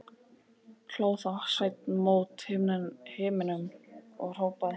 Hló þá Sveinn mót himninum og hrópaði: